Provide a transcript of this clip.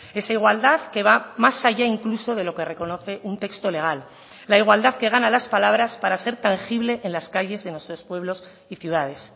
esa igualdad que va más allá incluso de lo que reconoce un texto legal la igualdad que gana a las palabras para ser tangible en las calles de nuestros pueblos y ciudades